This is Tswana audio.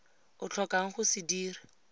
o tlhokang go se dira